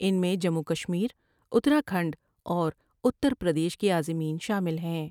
ان میں جموں وکشمیر ، اتراکھنڈ اور اتر پردیش کے عازمین شامل ہیں ۔